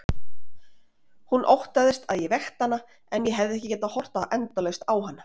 Hún óttaðist að ég vekti hana en ég hefði getað horft endalaust á hana.